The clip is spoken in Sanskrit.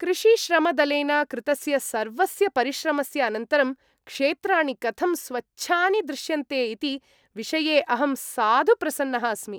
कृषिश्रमदलेन कृतस्य सर्वस्य परिश्रमस्य अनन्तरं क्षेत्राणि कथं स्वच्छानि दृश्यन्ते इति विषये अहं साधु प्रसन्नः अस्मि।